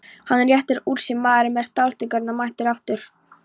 Hann réttir úr sér, maðurinn með stáltaugarnar mættur aftur.